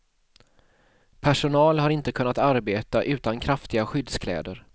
Personal har inte kunnat arbeta utan kraftiga skyddskläder.